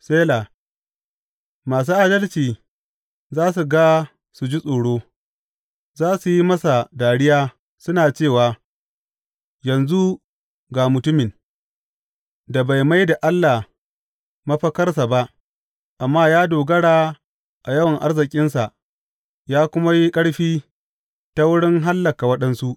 Sela Masu adalci za su ga su ji tsoro; za su yi masa dariya, suna cewa, Yanzu, ga mutumin da bai mai da Allah mafakarsa ba amma ya dogara a yawan arzikinsa ya kuma yi ƙarfi ta wurin hallaka waɗansu!